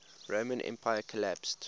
roman empire collapsed